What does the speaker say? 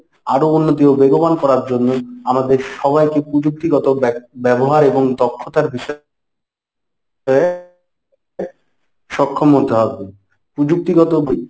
আরো উন্নতি ও বেগবান করার জন্য আমাদের সবাইকে প্রযুক্তিগত ব্যবহারে এবং দক্ষতার বিষয়ে সক্ষম হতে হবে। প্রযুক্তিগত